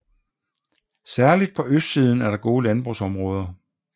Særlig på østsiden er der gode landbrugsområder